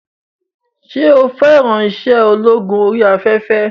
Ṣé o fẹ́ràn iṣẹ́ ológun orí afẹ́fẹ́?